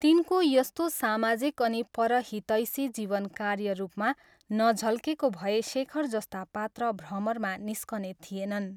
तिनको यस्तो सामाजिक अनि परहितैषी जीवन कार्य रूपमा नझल्केको भए शेखर जस्ता पात्र भ्रमरमा निस्कने थिएनन्।